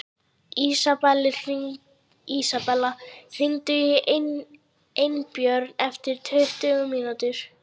Isabella, hringdu í Einbjörn eftir tuttugu mínútur.